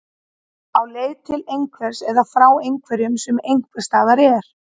Á leið til einhvers eða frá einhverju sem einhvers staðar er.